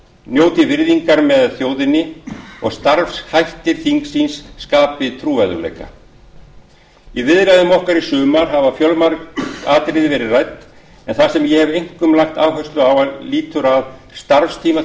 njóti virðingar með þjóðinni og starfshættir þingsins skapi trúverðugleika í viðræðum okkar í sumar hafa fjölmörg atriði verið rædd en það sem ég hef einkum lagt áherslu á lýtur að starfstíma